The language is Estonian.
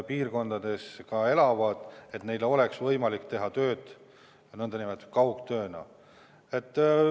Kui nad maal elavad, siis peaks neil olema võimalik teha ka kaugtööd.